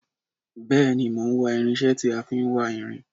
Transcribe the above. Bèéní, mò n wá irinsé tí a fin wá irin